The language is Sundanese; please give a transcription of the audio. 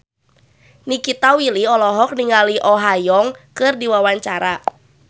Nikita Willy olohok ningali Oh Ha Young keur diwawancara